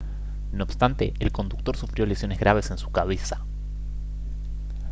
no obstante el conductor sufrió lesiones graves en su cabeza